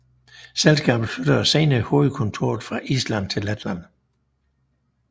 Selskabet flyttede senere hovedkontoret fra Island til Letland